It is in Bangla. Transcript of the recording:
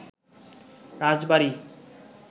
রাজবাড়ী